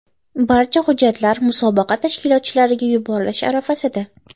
Barcha hujjatlar musobaqa tashkilotchilariga yuborilish arafasida.